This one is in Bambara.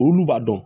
Olu b'a dɔn